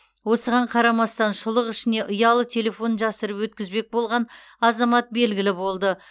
осыған қарамастан шұлық ішіне ұялы телефон жасырып өткізбек болған азамат белгілі болды